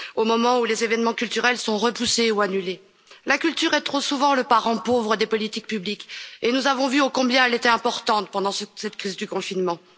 Au moment où les événements culturels sont repoussés ou annulés, la culture est trop souvent le parent pauvre des politiques publiques et nous avons vu ô combien elle était importante pendant cette crise du confinement.